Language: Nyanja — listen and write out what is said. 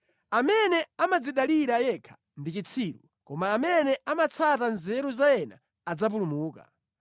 Amene amadzidalira yekha ndi chitsiru, koma amene amatsata nzeru za ena adzapulumuka.